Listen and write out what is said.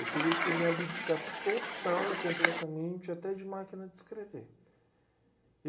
eu teria que me abdicar total e completamente até de máquina de escrever.